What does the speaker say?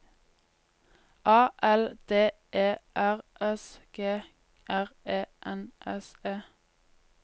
A L D E R S G R E N S E